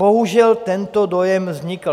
Bohužel tento dojem vznikl.